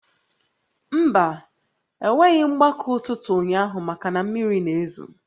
Mba, e nweghị mgbakọ ụtụtụ ụnyaahụ maka na mmiri na-ezo